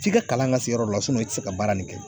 F'i ka kalan ka se yɔrɔ la i ti se ka baara nin kɛ